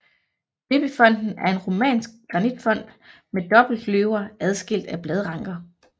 Døbefonten er en romansk granitfont med dobbeltløver adskilt af bladranker